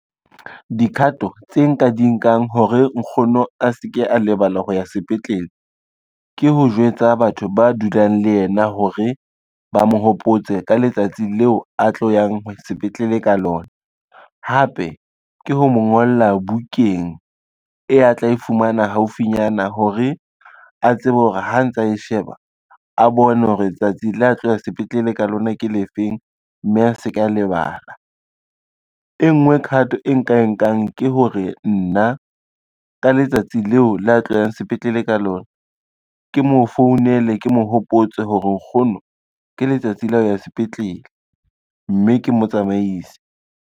Dikhato tse nka di nkang hore nkgono a se ke a lebala ho ya sepetlele, ke ho jwetsa batho ba dulang le yena hore ba mo hopotse ka letsatsi leo a tlo yang sepetlele ka lona. Hape ke ho mo ngola bukeng e a tla e fumana haufinyana hore a tsebe hore ha ntsa e sheba a bone hore tsatsi le a tlohe sepetlele ka lona ke le feng, mme a se ka lebala. E ngwe khato e nka e nkang ke hore nna ka letsatsi leo la tlo yang sepetlele ka lona, ke mo founele ke mo hopotse hore nkgono ke letsatsi la ho ya sepetlele, mme ke motsamaise.